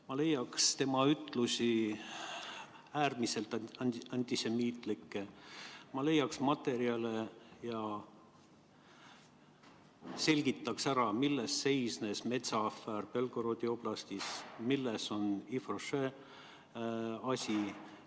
Ma leiaks tema ütlusi, äärmiselt antisemiitlikke, ma leiaks materjale ja selgitaks ära, milles seisnes metsaafäär Belgorodi oblastis ja milles oli Yves Rocher' asi.